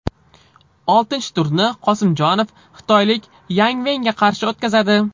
Oltinchi turni Qosimjonov xitoylik Yang Venga qarshi o‘tkazadi.